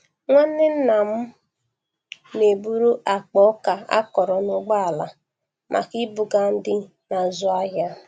Nwanne nnam na-eburu akpa ọka akọrọ n'ụgbọala maka ibuga ndị na-azụ ahịa.